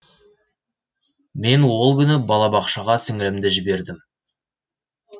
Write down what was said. мен ол күні бала бақшаға сіңілімді жібердім